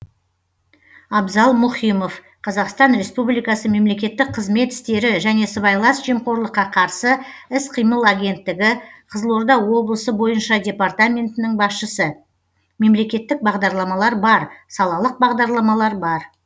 абзал мұхимов қазақстан республикасы мемлекеттік қызмет істері және сыбайлас жемқорлыққа қарсы іс қимыл агенттігі қызылорда облысы бойынша департаментінің басшысы мемлекеттік бағдарламалар бар салалық бағдарламалар бар